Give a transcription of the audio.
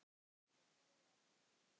Þau hlæja öll að þessu.